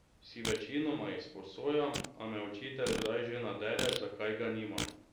Si večinoma izposojam, a me učitelj kdaj že nadere, zakaj ga nimam.